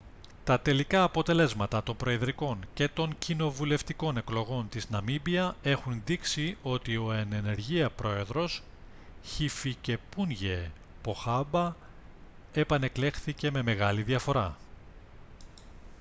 τα τελικά αποτελέσματα των προεδρικών και των κοινοβουλευτικών εκλογών της ναμίμπια έχουν δείξει ότι ο εν ενεργεία πρόεδρος χιφικεπούνγιε ποχάμπα επανεκλέχθηκε με μεγάλη διαφορά